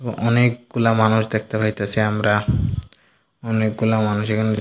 অনেকগুলা মানুষ দেখতে পাইতাসি আমরা অনেকগুলা মানুষ এখানে --